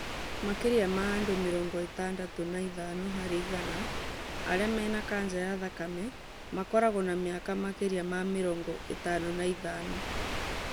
Makĩria ma andũ mĩrongo ĩtandatũ na ithano harĩ igana arĩa mena kanja ya thakame makoragwo na mĩaka makĩria ma mĩrongo ĩtano na ithano